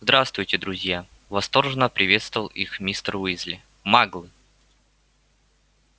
здравствуйте друзья восторженно приветствовал их мистер уизли маглы